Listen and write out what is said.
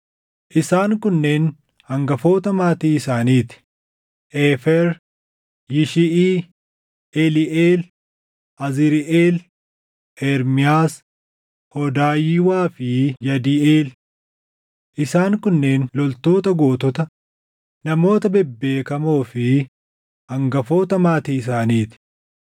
Isaan kunneen hangafoota maatii isaanii ti: Eefer, Yishiʼii, Eliiʼeel, Azriiʼeel, Ermiyaas, Hoodayiwaa fi Yadiiʼeel. Isaan kunneen loltoota gootota, namoota bebbeekamoo fi hangafoota maatii isaanii ti.